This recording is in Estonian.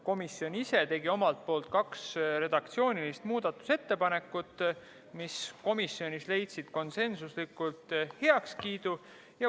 Komisjon ise tegi kaks redaktsioonilist muudatusettepanekut, mis leidsid komisjonis konsensuslikult heakskiidu.